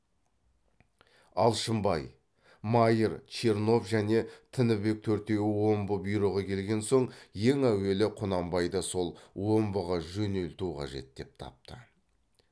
алшынбай майыр чернов және тінібек төртеуі омбы бұйрығы келген соң ең әуелі құнанбайды сол омбыға жөнелту қажет деп тапты